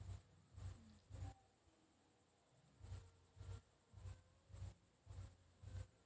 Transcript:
भायखळ्याच्या police कॉन्स्टेबलचा नाशकात अल्पवयीन मुलीवर बलात्कार